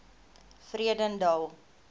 vredendal